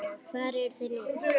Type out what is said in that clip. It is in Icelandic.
Hvar eru þeir nú?